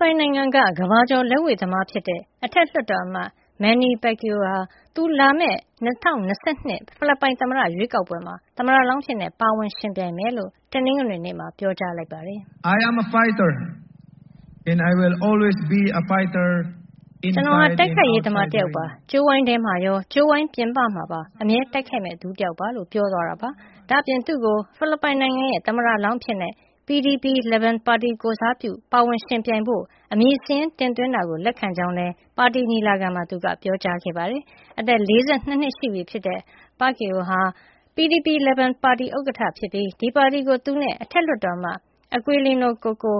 ပိုင်နိုင်ငံက ကမ္ဘာကျော်လက်ဝှေ့သမားဖြစ်တဲ့ အထက်လွှတ်တော်အမတ် Manny Pacquiao က သူဟာ လာမယ့် ၂၀၂၂ ဖိလစ်ပိုင်သမ္မတရွေးကောက်ပွဲမှာ သမ္မတလောင်းအဖြစ် ပါဝင်ယှဉ်ပြိုင်မှာဖြစ်ကြောင်း တနင်္ဂနွေနေ့မှာ ပြောကြားလိုက်ပါတယ်။ “ကျနော်ဟာ တိုက်ခိုက်ရေးသမား တယောက်ပါ။ ကြိုးဝိုင်းထဲမှာရော ကြိုးဝိုင်းပြင်ပမှာပါ အမြဲတိုက်ခိုက်မယ့်သူတယောက်ပါ။” လို့ ပြောသွားတာပါ။ ဒါ့အပြင် သူ့ကို ဖိလစ်ပိုင်နိုင်ငံရဲ့ သမ္မတလောင်းအဖြစ် PDP-Laban ပါတီ ကိုယ်စားပြုပြီး ပါဝင်ယှဉ်ပြိုင်ဖို့ အမည်စာရင်း တင်သွင်းတာကို လက်ခံကြောင်းလည်း ပါတီညီလာခံမှာ သူက ပြောကြားခဲ့ပါတယ်။ အသက် ၄၂ နှစ်ရှိပြီဖြစ်တဲ့ Pacquiao ဟာ PDP-Laban ပါတီ ဥက္ကဋ္ဌဖြစ်ပြီး ဒီပါတီကို သူနဲ့ အထက်လွှတ်တော်အမတ် Aquilino "Koko"